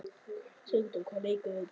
Sigdór, hvaða leikir eru í kvöld?